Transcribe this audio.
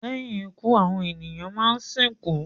lẹ́yìn ikú àwọn ènìyàn má sìnkú.